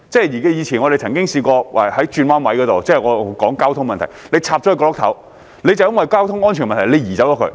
以前我們曾經試過在道路轉彎位的角落——我是說交通問題——懸掛國旗，政府便因為交通安全問題而把它移走。